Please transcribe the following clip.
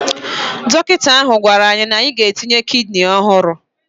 Dọkịta ahụ gwara ya na-aga etinye ya kidini ọhụrụ